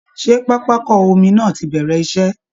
Ṣé pápákọ omi náà ti bẹ̀rẹ̀ iṣẹ́?